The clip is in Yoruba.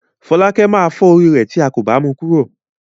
Fọ́lákẹ́ máa fọ́ orí rẹ̀ tí a kò bá mu kúrò.